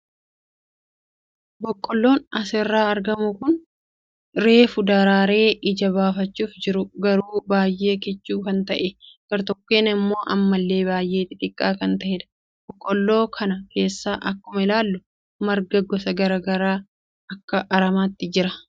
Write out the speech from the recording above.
Boqqoolloon asirraa argamu kun kan reefu daraaree ija buufachuuf jiru garuu baay'ee kichuu kan ta'e, gartokkeen immoo ammallee baay'ee xixiqqaa kan ta'edha. Boqqoolloo kana keessa akkuma ilaallu marga gosa garaagaraa akka aramaatti jira.